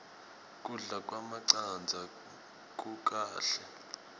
kudla kwemacandza kukahle